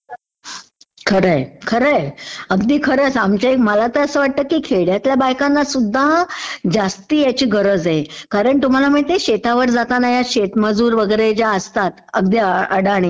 खरं आहे .... खरं आहे. अगदी खरं आहे. मला असं वाटतं की खेड्यातल्या बायकांनासुध्दा जास्ती ह्याची गरज आहे. कारण तुम्हाला माहितेय शेतावर जातात ह्या शेतमजूर वगैरे ज्या असतात अगदी अडाणी